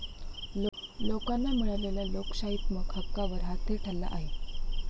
लोकांना मिळालेल्या लोकशाहीत्मक हक्कावर हा थेट हल्ला आहे.